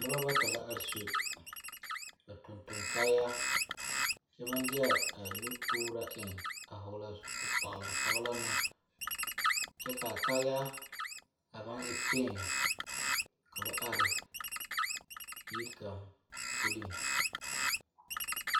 Noba bata la are a su ba tontoŋ kaayaa kyɛ maŋ de a nutooraa eŋ a hɔɔle a zupili kpalaŋ kpalaŋ na kyɛ ka a kaayaa a maŋ e piŋki ka are ne yiri kaŋ puliŋ.